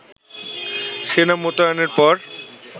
সেনা মোতায়েনের পরও